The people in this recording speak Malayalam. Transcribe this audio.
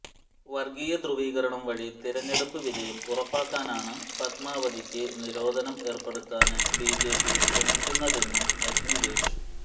വര്ഗീയ ധ്രൂവീകരണം വഴി തെരഞ്ഞെടുപ്പ് വിജയം ഉറപ്പാക്കാനാണ് പത്്മാവതിയ്ക്ക് നിരോധനം ഏര്പ്പെടുത്താന് ബിജപി ശ്രമിക്കുന്നതെന്നും അഗ്നിവേശ്